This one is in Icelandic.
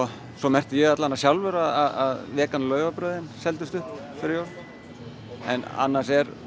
svo merkti ég allavega sjálfur að vegan laufabrauðin seldust upp fyrir jól annars er